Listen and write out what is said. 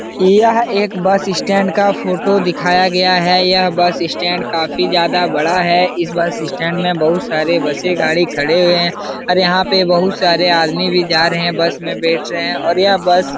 यह एक बस इस स्टैंड का फोटो दिखाया गया है यह बस इस स्टैंड काफी ज्यादा बड़ा है। इस बस इस स्टैंड मैं बहुत सारे बसे गाड़ी खड़े हुए हैं। अब यहाँ पे बहुत सारे आदमी भी जा रहे है। बस मैं बैठ रहे हैं और यह बस --